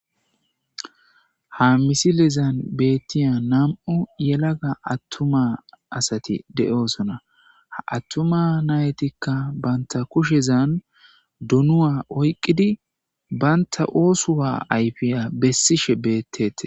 Ha misilezan beetiza nam'u yelaga atuma asati de'osona. Ha atuma natika banta kushezan donuwa oyqidi banta osuwa ayfiya besishe betetes.